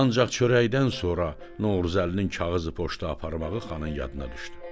Ancaq çörəkdən sonra Novruzəlinin kağızı poçta aparmağı xanın yadına düşdü.